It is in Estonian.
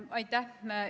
Aitäh!